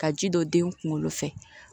Ka ji don den kunkolo fɛ